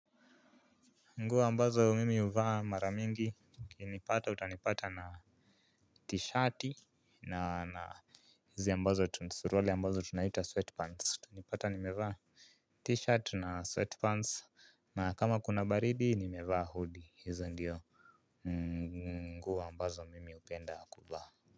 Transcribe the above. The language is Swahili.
Nguo ambazo mimi huvaa mara mingi ukinipata utanipata na t-shirt na na hizi ambazo tu ni suruali ambazo tunaita sweatpants utanipata nimevaa t-shirt na sweatpants na kama kuna baridi nimevaa hoodie. Hizo ndiyo nguo ambazo mimi hupenda kuvaa.